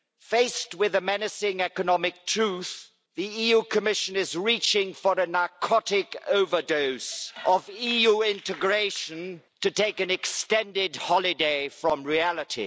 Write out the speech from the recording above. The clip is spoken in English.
Faced with a menacing economic truth, the EU Commission is reaching for a narcotic overdose of EU integration to take an extended holiday from reality.